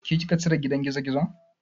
Ke kika cire gidan gizogizon?